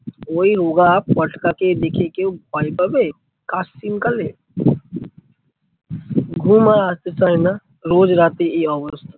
ওই রোগা পটকা কে দেখে কেউ ভয় পাবে ক্যাশিং কালে? ঘুম আর আসতে চায়না রোজ রাতে এই অবস্থা।